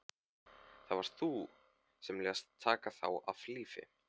Það varst þú sem lést taka þá af lífi.